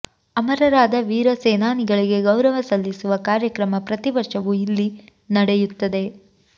ಅಮರರಾದ ವೀರ ಸೇನಾನಿಗಳಿಗೆ ಗೌರವ ಸಲ್ಲಿಸುವ ಕಾರ್ಯಕ್ರಮ ಪ್ರತಿ ವರ್ಷವೂ ಇಲ್ಲಿ ನಡೆಯುತ್ತದೆ